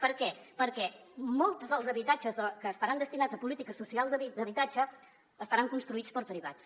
per què perquè molts dels habitatges que estaran destinats a polítiques socials d’habitatge estaran construïts per privats